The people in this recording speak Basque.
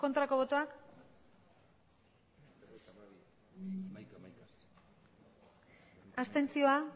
aurkako botoak abstentzioa